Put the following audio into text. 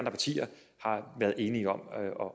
partier har været enige om